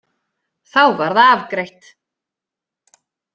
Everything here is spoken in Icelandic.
Þá var það afgreitt!